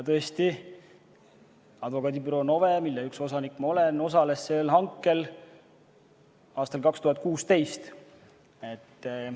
Tõesti, advokaadibüroo NOVE, mille üks osanik ma olen, osales aastal 2016 sellel hankel.